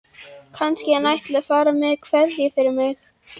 Kannski hann ætli að fara með kvæði fyrir mig.